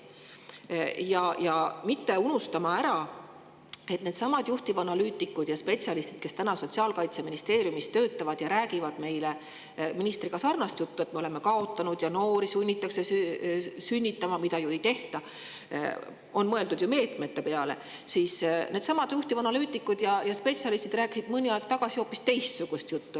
unustada ära, et needsamad juhtivanalüütikud ja spetsialistid, kes täna töötavad ja räägivad meile ministriga sarnast juttu, et me oleme kaotanud ja noori sunnitakse sünnitama – seda ei tehta, sest on ju mõeldud meetmete peale –, rääkisid mõni aeg tagasi hoopis teistsugust juttu.